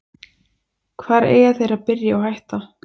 Hvar eiga þeir að byrja og hætta?